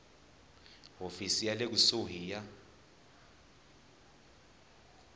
hofisi ya le kusuhi ya